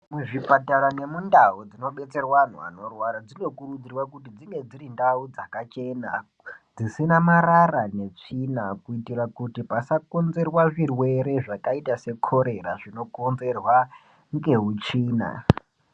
Muzvipatara nemundau dzinobetserwa anhu anorwara dzinokurudzirwa kuti dzinge dziri ndau dzakachena, dzisina marara netsvina, kuitira kuti pasakonzerwa zvirwere zvakaita sekholera zvinokonzerwa ,ngeutsvina.